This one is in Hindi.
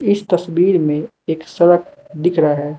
इस तस्वीर में एक सड़क दिख रहा है।